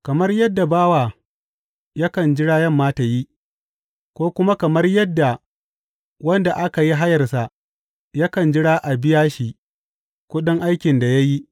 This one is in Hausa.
Kamar yadda bawa yakan jira yamma ta yi, ko kuma kamar yadda wanda aka yi hayarsa yakan jira a biya shi kuɗin aikin da ya yi.